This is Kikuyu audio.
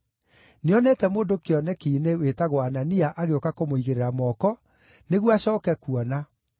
Nĩonete mũndũ kĩoneki-inĩ wĩtagwo Anania agĩũka kũmũigĩrĩra moko, nĩguo acooke kuona.”